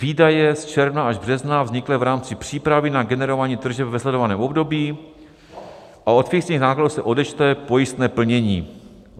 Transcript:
Výdaje z června až března vzniklé v rámci přípravy na generování tržeb ve sledovaném období a od fixních nákladů se odečte pojistné plnění.